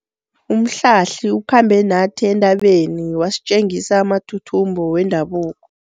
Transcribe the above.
Umhlahli ukhambe nathi entabeni wasitjengisa amathuthumbo wendabuko.